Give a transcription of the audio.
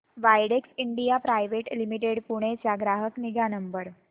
Widex India private limited Pune चा ग्राहक निगा नंबर